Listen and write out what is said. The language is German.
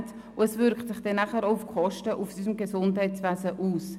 Dies wirkt sich auch auf die Kosten im Gesundheitswesen aus.